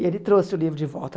E ele trouxe o livro de volta.